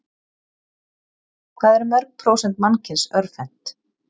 Hvað eru mörg prósent mannkyns örvhent?